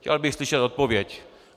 Chtěl bych slyšet odpověď.